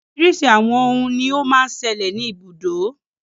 Oríṣiríṣi àwọn òhún ní o má ń ṣẹlẹ̀ ní ibùdó.